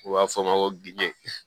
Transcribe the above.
U b'a fɔ ma ko gde